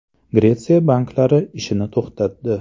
Gretsiya banklari ishini to‘xtatdi.